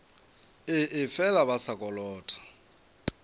ee fela ba sa kolota